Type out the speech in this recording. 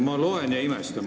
Ma loen seda ja imestan.